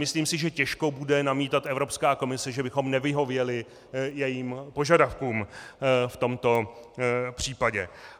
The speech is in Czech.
Myslím si, že těžko bude namítat Evropská komise, že bychom nevyhověli jejím požadavkům v tomto případě.